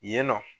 Yen nɔ